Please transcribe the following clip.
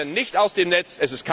Wir fallen nicht aus dem Netz!